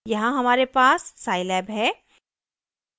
यहाँ हमारे पास scilab है